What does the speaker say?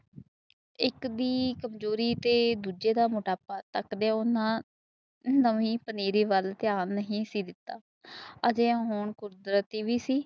ਇੱਕ ਦੀ ਕਮਜ਼ੋਰੀ ਤੇ ਦੂਜੇ ਦਾ ਮੋਟਾਪਾ ਕੱਟਦਿਆਂ ਨਵੀ ਪੰਨਜੀਰੀ ਵੱਲ ਧਿਆਨ ਨਹੀਂ ਦਿਤਾ ਅਹਜਿਯਾ ਹੋਣ ਤੇ ਕੁਦਰਤੀ ਵੀ ਸੀ